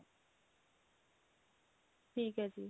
ਠੀਕ ਹੈ ਜੀ